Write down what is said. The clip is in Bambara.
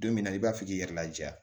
Don min na i b'a fɔ k'i yɛrɛ laja